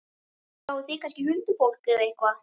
Sjáið þið kannski huldufólk- eða eitthvað?